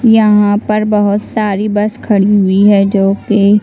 यहाँ पर बहुत सारी बस खड़ी हुईं है जोकि --